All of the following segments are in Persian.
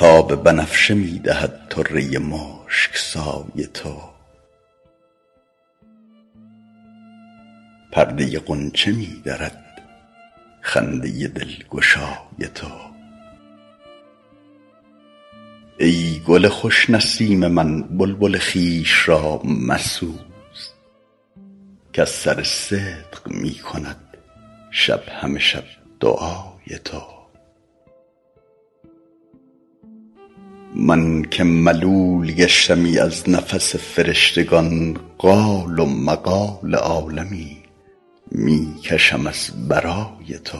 تاب بنفشه می دهد طره مشک سای تو پرده غنچه می درد خنده دلگشای تو ای گل خوش نسیم من بلبل خویش را مسوز کز سر صدق می کند شب همه شب دعای تو من که ملول گشتمی از نفس فرشتگان قال و مقال عالمی می کشم از برای تو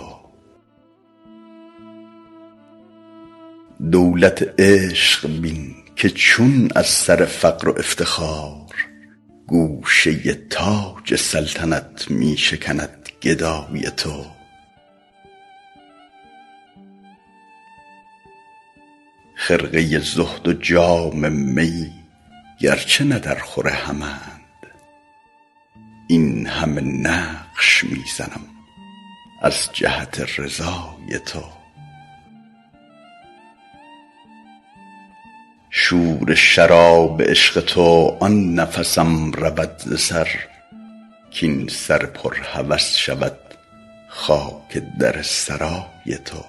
دولت عشق بین که چون از سر فقر و افتخار گوشه تاج سلطنت می شکند گدای تو خرقه زهد و جام می گرچه نه درخور همند این همه نقش می زنم از جهت رضای تو شور شراب عشق تو آن نفسم رود ز سر کاین سر پر هوس شود خاک در سرای تو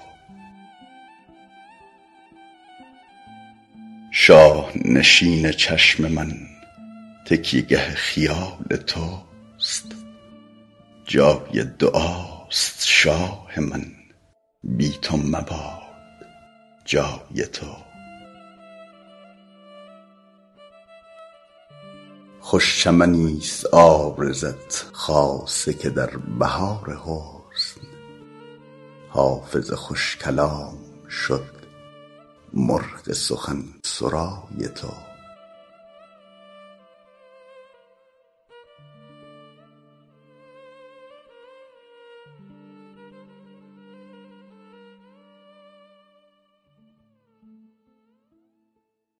شاه نشین چشم من تکیه گه خیال توست جای دعاست شاه من بی تو مباد جای تو خوش چمنیست عارضت خاصه که در بهار حسن حافظ خوش کلام شد مرغ سخن سرای تو